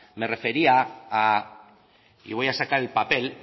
me refería a y voy a sacar el papel